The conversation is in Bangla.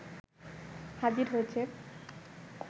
হাজির হয়েছে